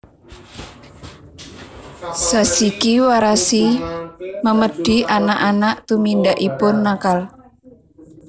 Zashiki warashi Memedi anak anak tumindakipun nakal